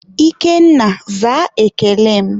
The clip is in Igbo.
Ikenna, zaa ekele m!